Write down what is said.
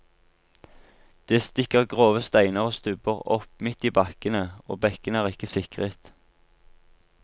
Det stikker grove steiner og stubber opp midt i bakkene og bekkene er ikke sikret.